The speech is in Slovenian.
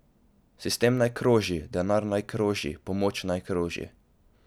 Sistem naj kroži, denar naj kroži, pomoč naj kroži.